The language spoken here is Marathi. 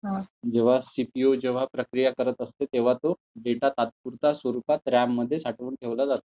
जेंव्हा सीपीयू प्रक्रिया करत असते तेंव्हा तो डेटा तात्पुरत्या स्वरूपात रॅम मध्ये साठवून ठेवला जातो.